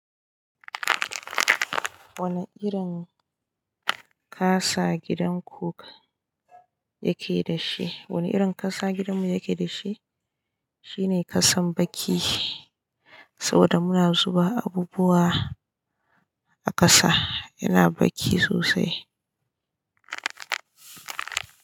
Wane irin ƙasa gidan ku yake da shi? Wane irin ƙasa gidan mu yake da shi, shi ne ƙasan baki saboda muna zuba abubuwa a ƙasa, yana baki sosai.